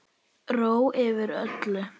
Ró yfir öllu.